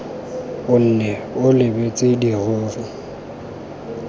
o nne o lebeletse dirori